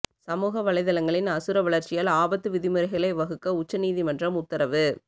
சமூக வலைதளங்களின் அசுர வளர்ச்சியால் ஆபத்து விதிமுறைகளை வகுக்க உச்ச நீதிமன்றம் உத்தரவு